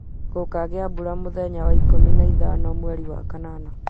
Gũgakĩa mbura mũthenya wa ikũmi na ithano mweri wa kanana